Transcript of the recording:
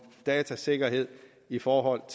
datasikkerhed i forhold